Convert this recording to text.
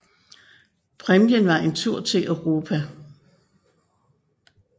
Præmien var en tur til Europa